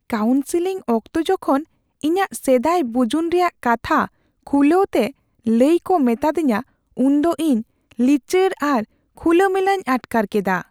Counselling ᱚᱠᱛᱚ ᱡᱚᱠᱷᱚᱱ ᱤᱧᱟᱹᱜ ᱥᱮᱫᱟᱭ ᱵᱩᱡᱩᱱ ᱨᱮᱭᱟᱜ ᱠᱟᱛᱷᱟ ᱠᱷᱩᱞᱟᱹᱣ ᱛᱮ ᱞᱟᱹᱭ ᱠᱚ ᱢᱮᱛᱟ ᱫᱤᱧᱟ ᱩᱱᱫᱚ ᱤᱧ ᱞᱤᱪᱟᱹᱲ ᱟᱨ ᱠᱷᱩᱞᱟᱹᱼᱢᱮᱞᱟᱧ ᱟᱴᱠᱟᱨ ᱠᱮᱫᱟ ᱾